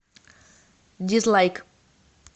дизлайк